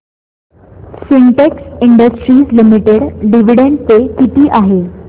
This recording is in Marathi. Sintex industries limited dividend pay किती आहे